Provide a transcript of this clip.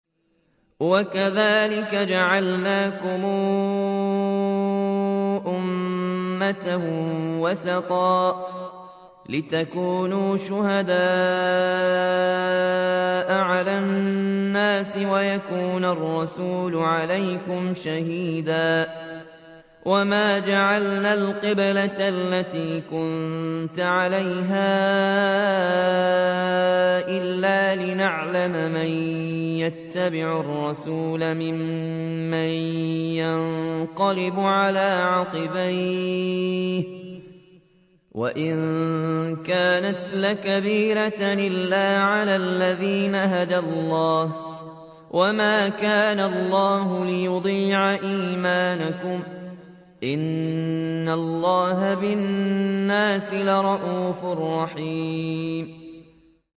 وَكَذَٰلِكَ جَعَلْنَاكُمْ أُمَّةً وَسَطًا لِّتَكُونُوا شُهَدَاءَ عَلَى النَّاسِ وَيَكُونَ الرَّسُولُ عَلَيْكُمْ شَهِيدًا ۗ وَمَا جَعَلْنَا الْقِبْلَةَ الَّتِي كُنتَ عَلَيْهَا إِلَّا لِنَعْلَمَ مَن يَتَّبِعُ الرَّسُولَ مِمَّن يَنقَلِبُ عَلَىٰ عَقِبَيْهِ ۚ وَإِن كَانَتْ لَكَبِيرَةً إِلَّا عَلَى الَّذِينَ هَدَى اللَّهُ ۗ وَمَا كَانَ اللَّهُ لِيُضِيعَ إِيمَانَكُمْ ۚ إِنَّ اللَّهَ بِالنَّاسِ لَرَءُوفٌ رَّحِيمٌ